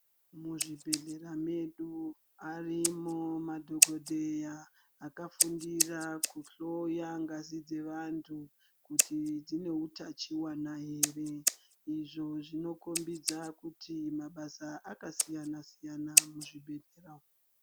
Muzvibhedhlera medu avemo madhogodheya akafundira kuhloya ngazi dzevantu kuti dzine utachiwana here. Izvo zvinokombidza kuti mabasa akasiyana siyana muzvibhedhlera umu.